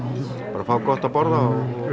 fá gott að borða og